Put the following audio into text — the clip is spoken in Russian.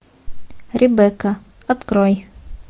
ребекка открой